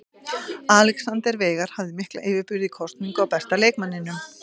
Alexander Veigar hafði mikla yfirburði í kosningu á besta leikmanninum.